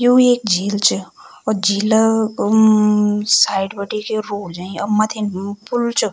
यु एक झील च और झील क म-म-म साइड बटे के रोड जयीं और मथिम पुल च।